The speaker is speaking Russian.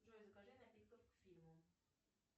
джой закажи напитков к фильму